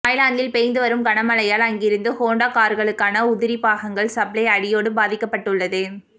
தாய்லாந்தில் பெய்து வரும் கனமழையால் அங்கிருந்து ஹோண்டா கார்களுக்கான உதிரிபாகங்கள் சப்ளை அடியோடு பாதிக்கப்பட்டுள்ளது